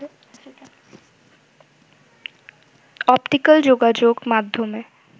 optical যোগাযোগ মাধ্যমে